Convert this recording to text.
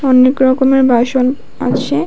অনেক রকমের বাসন আছে।